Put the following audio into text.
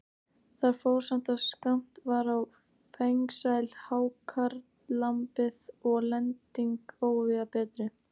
Þar fór saman, að skammt var á fengsæl hákarlamið og lending óvíða betri.